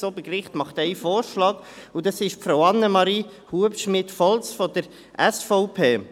Das Obergericht macht einen Vorschlag, und das ist Frau Annemarie Hubschmid Volz von der SVP.